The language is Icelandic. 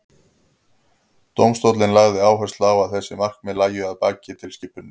dómstóllinn lagði áherslu á að þessi markmið lægju að baki tilskipuninni